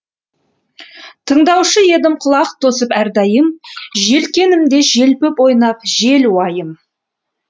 тыңдаушы едім құлақ тосып әрдайым желкенімді желпіп ойнап жел уайым